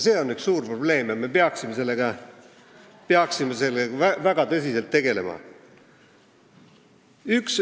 See on suur probleem ja me peaksime sellega väga tõsiselt tegelema.